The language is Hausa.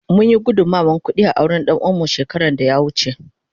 Mun yi gudunmawar kudi a auren danuwa mu shekara da ya wuce.